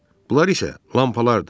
Bunlar isə lampalardır.